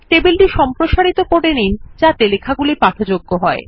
টেবিলটি সম্প্রসারিত করে নিন যাতে লেখা পাঠযোগ্য হয়